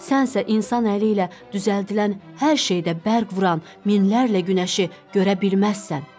Sən isə insan əli ilə düzəldilən hər şeydə bərq vuran minlərlə günəşi görə bilməzsən.